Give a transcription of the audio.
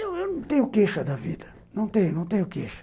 Eu eu não tenho queixa da vida, não tenho queixa.